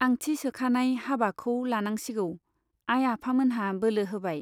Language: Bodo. आंथि सोखानाय , हाबाखौ लानांसिगौ, आइ आफामोनहा बोलो होबाय।